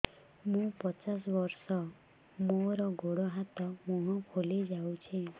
ମୁ ପଚାଶ ବର୍ଷ ମୋର ଗୋଡ ହାତ ମୁହଁ ଫୁଲି ଯାଉଛି